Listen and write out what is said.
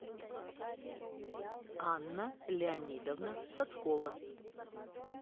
анна леонидовна соцкова